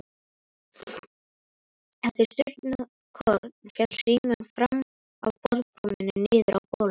Eftir stundarkorn féll síminn fram af borðbrúninni niður á gólf.